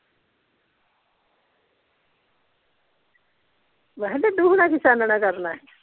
ਮੈਂ ਕਿਹਾ ਡੱਡੂ ਹੁਣਾ ਕੀ ਛਾਣਨਾ ਕਰਨਾ ਸੀ।